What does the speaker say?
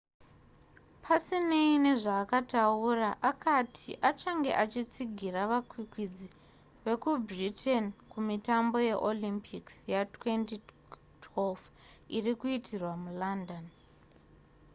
pasinei nezvaakataura akati achange achitsigira vakwikwidzi vekubritain kumitambo yeolympics ya2012 iri kuitirwa mulondon